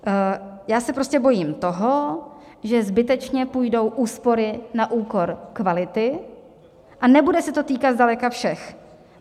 Já se prostě bojím toho, že zbytečně půjdou úspory na úkor kvality, a nebude se to týkat zdaleka všech.